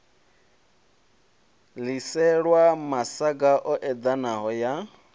ḽiselwa masaga o eḓanaho ya